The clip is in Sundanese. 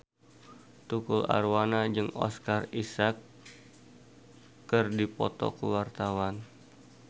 Tukul Arwana jeung Oscar Isaac keur dipoto ku wartawan